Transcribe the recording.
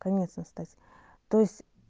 конец настать то есть